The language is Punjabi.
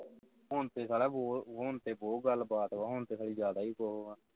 ਹੁਣ ਤੇ ਸਾਲਆਂ ਆਹ ਹੁਣ ਤੇ ਬਹੋਤ ਗੱਲ ਬਾਤ ਵਾ ਹੁਣ ਤੇ ਸਾਲੀ ਜ਼ਿਆਦਾ ਵੀ ਕੁਝ ਹੋਰ ਆ